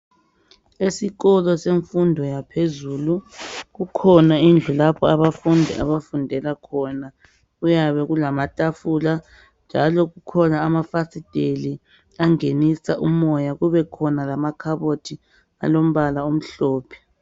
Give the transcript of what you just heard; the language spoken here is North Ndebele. Esikolo semfundo yaphezulu kukhona indlu lapho abafundi abafundela khona kuyabe kulamatafula njalo kukhona amafasiteli angenisa umoya kubekhona lamakhabothi alombala omhlophe.